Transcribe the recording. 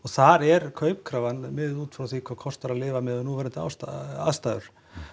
þar er miðuð út frá því hvað kostar að lifa miðað við núverandi aðstæður